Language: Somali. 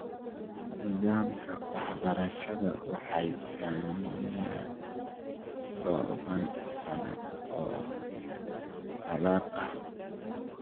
Nidaamka waxbarashada waxaa saameeyay tobanaan sano oo colaado ah.